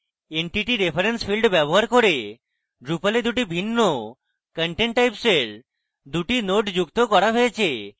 entity reference field ব্যবহার করে drupal দুটি ভিন্ন content types এর দুটি nodes যুক্ত করা হয়েছে